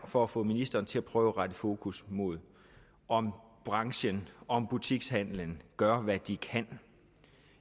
og for at få ministeren til at prøve at rette fokus mod om branchen og om butikshandelen gør hvad de kan